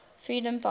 freedompark